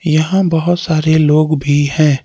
यहां बहुत सारे लोग भी हैं।